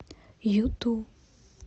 юту